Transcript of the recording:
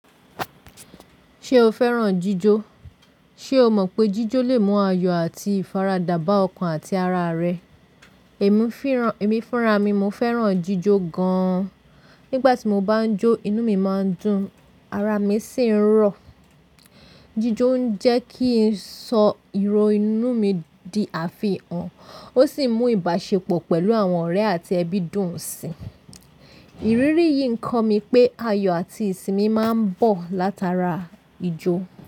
Ṣé o fẹ́ràn jíjó? Ṣé o mọ̀ pé jíjó lè mú ayọ̀ àti ìfaradà bá ọkàn àti ara rẹ? Èmi fúnra mi, mo fẹ́ràn jíjó gan-an. Nígbà tí mo bá ń jó, inú mi máa ń dùn, ara mi sì ń rọ. Jíjó ń jẹ́ kí ì sọ ìrò inú mi di àfihàn, ó sì mú ìbáṣepọ̀ pẹ̀lú àwọn ọ̀rẹ́ àti ẹbí dùn sii. Ìrírí yìí ń kọ́ mi pé ayọ̀ àti ìsinmi máa ń bọ̀ látara ijó.